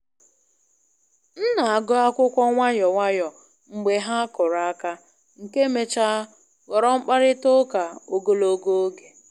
M na-agụ akwụkwọ nwayọ nwayọ mgbe ha kụrụ aka, nke mechara ghọrọ mkparịta ụka ogologo oge.